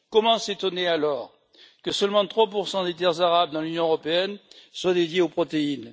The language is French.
Comment s'étonner alors que seulement 3 des terres arables dans l'Union européenne soit dédié aux protéines?